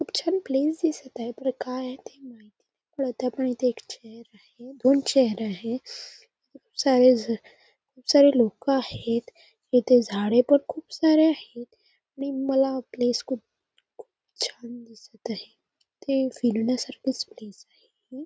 खूप छान प्लेस दिसत आहे पण काय आहे ते माहिती नाही त्यामध्ये इथे एक चेअर आहे दोन चेअर आहे खूप सारे खूप सारे लोक आहेत इथे झाडे पण खूप सारे आहेत आणि मला हे प्लेस खूप खूप छान दिसत आहे इथे फिरण्या सारखच प्लेस आहे.